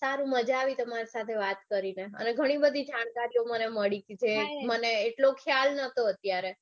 સારું મજા આવી તમારી સાથે વાત કરીને અને ઘણી બધી જાણકારીઓ મકે આપણું ત્યાં કોઈ મળી જાય ને મળી કે મને મને એટલો ખ્યાલ નતો અત્યારે